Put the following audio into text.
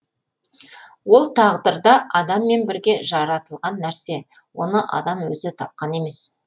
ол тағдырда адаммен бірге жаратылған нәрсе оны адам өзі тапқан емес